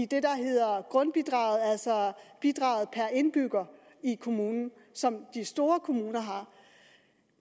det der hedder grundbidraget altså bidraget per indbygger i kommunen som de store kommuner har